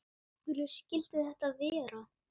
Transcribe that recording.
Af hverju skyldi þetta vera?